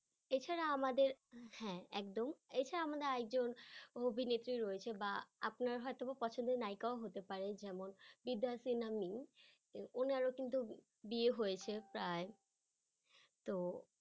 এছাড়া আমাদের হ্যাঁ একদম এছাড়া আমাদের আর একজন অভিনেত্রী রয়েছে বা আপনার হয়তোবা পছন্দের নায়িকাও হতে পারে যেমন বিদ্যা সিনহা মিম উনারো কিন্তু বিয়ে হয়েছে প্রায় তো